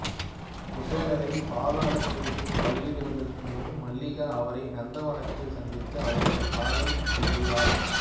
குசேலரைப் பாதாளகேது பலியிடுவதற்கு முன் மல்லிகா அவரை நந்தவனத்தில் சந்தித்து அவரிடம் காதல் கொள்கிறாள்